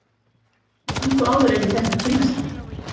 Löngu áður en ég fékk að kynnast þér.